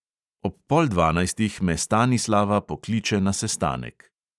Ob pol dvanajstih me stanislava pokliče na sestanek.